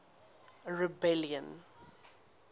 rebellion